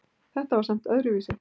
Þetta var samt öðruvísi.